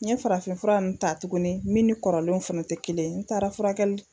N ye farafinfura ninnu ta tuguni min ni kɔrɔlenw fɛnɛ tɛ kelen ye n taara furakɛli